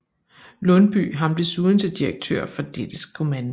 Lundbye ham desuden til direktør for dettes kommando